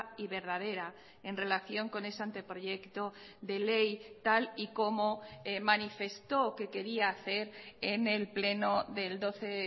y verdadera en relación con ese anteproyecto de ley tal y como manifestó que quería hacer en el pleno del doce